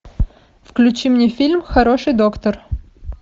включи мне фильм хороший доктор